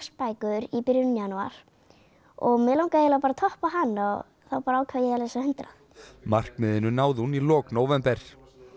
bækur í byrjun janúar og mig langaði bara að toppa hana þá ákvað ég að lesa hundrað markmiðinu náði hún í lok nóvember